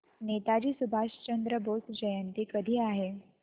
नेताजी सुभाषचंद्र बोस जयंती कधी आहे